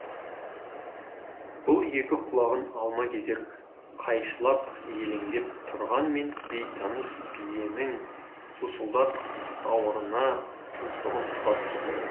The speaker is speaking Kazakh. бұл екі құлағын алма кезек қайшылап елеңдеп тұрғанмен бейтаныс биенің сусылдақ сауырына тұмсығын тыға түсті